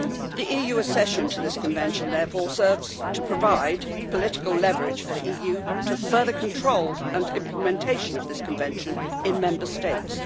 The EU accession to this Convention therefore serves to provide the political leverage for the EU to further control the implementation of this Convention in Member States.